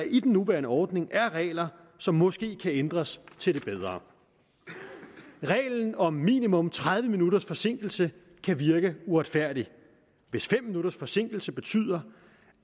i den nuværende ordning er regler som måske kan ændres til det bedre reglen om minimum tredive minutters forsinkelse kan virke uretfærdig hvis fem minutters forsinkelse betyder